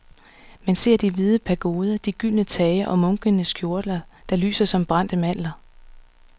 Man ser de hvide pagoder, de gyldne tage og munkenes kjortler, der lyser som brændte mandler.